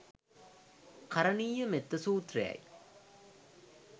කරණීයමෙත්ත සූත්‍රයයි.